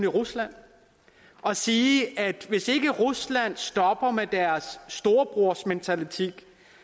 rusland og sige at hvis ikke rusland stopper med deres storebrormentalitet